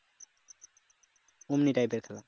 ওমনি type এর খেলা